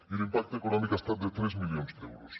i l’impacte econòmic ha estat de tres milions d’euros